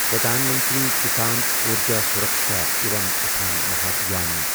Pradhan Mantri Kisan Urja Suraksha evam Utthan مہابھیان